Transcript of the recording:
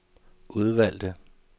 udvalgte